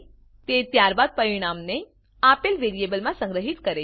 તે ત્યારબાદ પરીણામને આપેલ વેરીએબલ માં સંગ્રહીત કરે છે